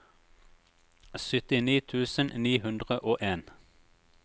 syttini tusen ni hundre og en